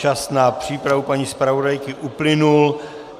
Čas na přípravu paní zpravodajky uplynul.